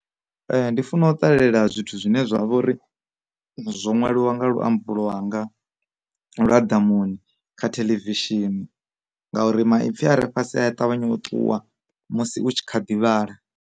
Ndi funa u ṱalela zwithu zwine zwavha uri zwo ṅwaliwa nga luambo lwanga lwa ḓamuni kha theḽevishini, ngauri maipfi a re fhasi a ṱavhanya u ṱuwa musi u tshi kha ḓi vhala.